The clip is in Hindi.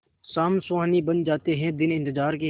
शाम सुहानी बन जाते हैं दिन इंतजार के